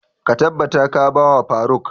Ka tabbata ka ba wa faruk!